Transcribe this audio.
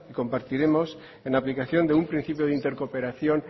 compartiremos en aplicación de un principio de intercooperación